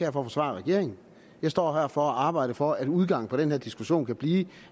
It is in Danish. at forsvare regeringen jeg står her for at arbejde for at udgangen på den her diskussion kan blive